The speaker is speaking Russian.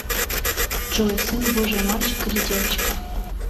джой сын божий мальчик или девочка